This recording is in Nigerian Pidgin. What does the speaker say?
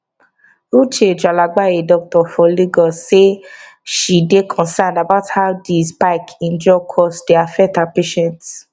uche tralagba a doctor for lagos say she dey concerned about how di spike in drug costs dey affect her patients